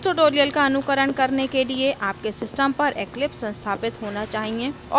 इस tutorial का अनुकरण करने के लिए आपके system पर eclipse संस्थापित होना चाहिए